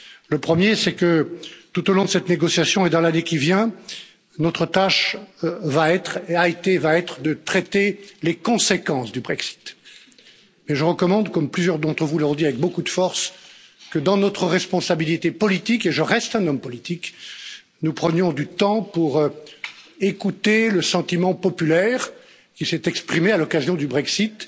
Le premier est que tout au long de cette négociation et dans l'année qui vient, notre tâche a été et va être de traiter les conséquences du Brexit, mais je recommande, comme plusieurs d'entre vous l'ont dit avec beaucoup de force, que dans notre responsabilité politique et je reste un homme politique nous prenions du temps pour écouter le sentiment populaire qui s'est exprimé à l'occasion du Brexit,